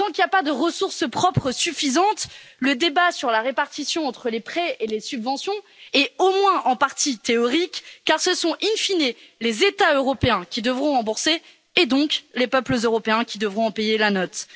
Tant qu'il n'y a pas de ressources propres suffisantes, le débat sur la répartition entre les prêts et les subventions est au moins en partie théorique, car ce sont, in fine, les États européens qui devront rembourser, et donc les peuples européens qui devront en payer la note.